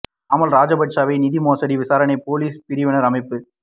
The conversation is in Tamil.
நாமல் ராஜபக்ஸவை நிதி மோசடி விசாரணை பொலிஸ் பிரிவினர் அழைப்பு